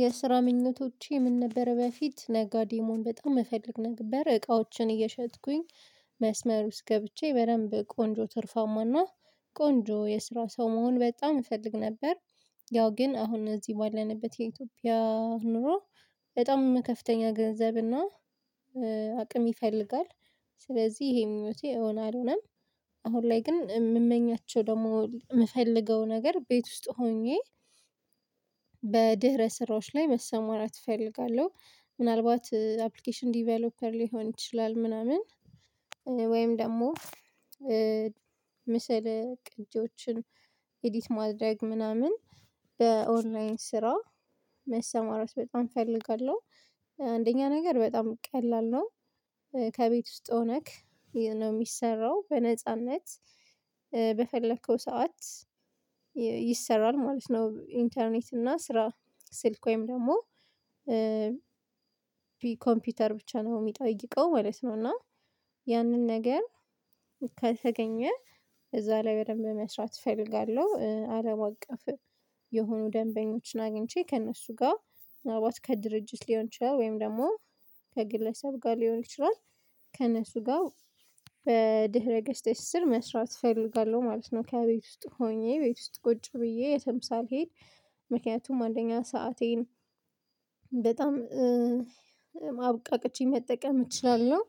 የስራ ምኞቶቼ ምን ነበር በፊት ነጋዴ መሆን በጣም እፈልግ ነበር እቃዎችን እየሸጥኩኝ መስመር ውስጥ ገብቼ በደንብ ቆንጆ ትርፋማና ቆንጆ የስራ ሰው መሆን በጣም እፈልግ ነበር ያው ግን አሁን እዚህ ባለንበት የኢትዮጵያ ኑሮ በጣም ከፍተኛ ገንዘብ እና አቅም ይፈልጋል ስለዚህ ይሄ ምኞቴ እውን አልሆነም አሁን ላይ ግን የምመኛቸው ደግሞ የምፈልገው ነገር ቤት ውስጥ ሆኜ በድህረ ስራዎች ላይ መሰማራት እፈልጋለሁ ምናልባት አፕሊኬሽን ዲቨሎፐር ሊሆን ይችላል ምናምን ወይም ደግሞ ምስል ቅጂዎችን ኤዲት ማድረግ ምናምን በኦንላይን ስራ መሰማራት በጣም እፈልጋለሁ፤ አንደኛ ነገር በጣም ቀላል ነው ከቤት ውስጥ ሆነክ ነው የሚሰራው በነጻነት፤ ሰዓት ይሰራል ማለት ነው ኢንተርኔት እና ስራ ስልክ ወይም ደግሞ ኮምፒውተር ብቻ ነው የሚጠይቀው ማለት ነው እና ያንን ነገር ከተገኘ እዛ ላይ በደንብ መስራት እፈልጋለሁ፤ አለም አቀፍ የሆኑ ደንበኞችን አግኝቼ ከእነሱ ጋር ዋርካ ከድርጅት ሊሆን ይችላል ወይም ደግሞ ከግለሰብ ጋር ሊሆን ይችላል ከእነሱ ጋር በድህረ ገስተሽ ስር መስራት እፈልጋለሁ ማለት ነው ከቤት ውስጥ ሆኜ ቤት ውስጥ ቁጭ ብዬ የትም ሳልሄድ ምክንያቱም አንደኛ ሰአቴን በጣም አብቃቀቸ መጠቀም እችላለሁ